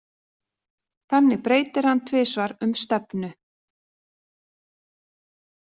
Þannig breytir hann tvisvar um stefnu.